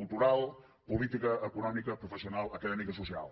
cultural política econòmica professional acadèmica i social